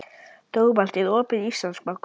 Dómald, er opið í Íslandsbanka?